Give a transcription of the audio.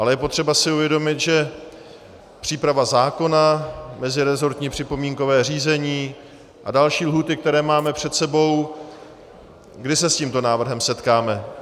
Ale je potřeba si uvědomit, že příprava zákona, mezirezortní připomínkové řízení a další lhůty, které máme před sebou - kdy se s tímto návrhem setkáme?